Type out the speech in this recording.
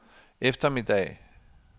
eftermiddag